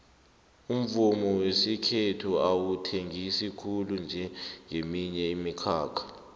umvumo wesikhethu awuthengisi khulu njengeminye imikhakha